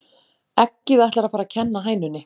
Eggið ætlar að fara að kenna hænunni